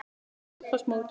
Setjið í eldfast mót.